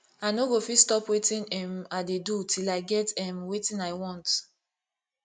i no go fit stop wetin um i dey do till i get um wetin i want